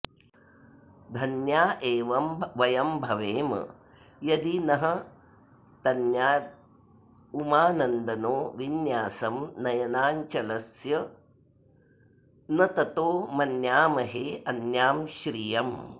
धन्या एव वयं भवेम यदि नस्तन्यादुमानन्दनो विन्यासं नयनाञ्चलस्य न ततो मन्यामहेऽन्यां श्रियम्